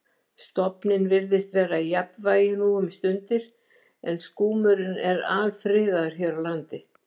Stofninn virðist vera í jafnvægi nú um stundir en skúmurinn er alfriðaður hér á landi.